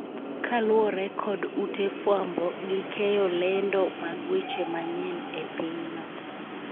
kaluwore kod ute fwambo gi keyo lendo mag weche manyien e pinyno